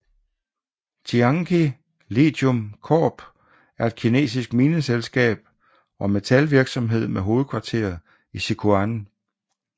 Tianqi Lithium Corp er et kinesisk mineselskab og metalvirksomhed med hovedkvarter i Sichuan